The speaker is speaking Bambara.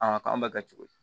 A k'an bɛɛ kɛ cogo di